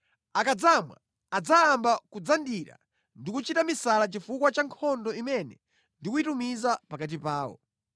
Akadzamwa adzayamba kudzandira ndi kuchita misala chifukwa cha nkhondo imene ndikuyitumiza pakati pawo.”